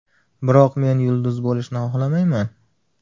Biroq men yulduz bo‘lishni xohlamayman.